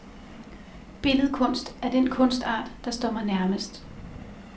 Billedkunst er den kunstart, der står mig nærmest.